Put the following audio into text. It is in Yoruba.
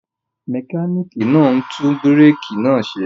Mẹkánìkì náà ń tún búrékì náà ṣe